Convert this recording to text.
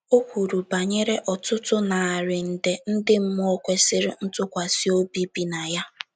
O kwuru banyere ọtụtụ narị nde ndị mmụọ kwesịrị ntụkwasị obi bi na ya.